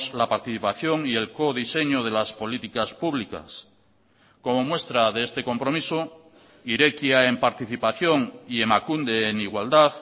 la participación y el codiseño de las políticas públicas como muestra de este compromiso irekia en participación y emakunde en igualdad